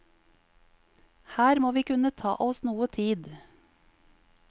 Her må vi kunne ta oss noe tid.